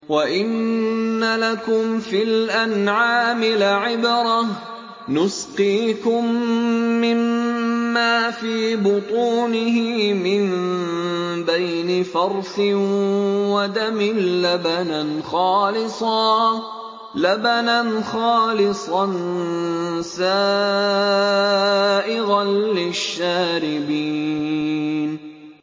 وَإِنَّ لَكُمْ فِي الْأَنْعَامِ لَعِبْرَةً ۖ نُّسْقِيكُم مِّمَّا فِي بُطُونِهِ مِن بَيْنِ فَرْثٍ وَدَمٍ لَّبَنًا خَالِصًا سَائِغًا لِّلشَّارِبِينَ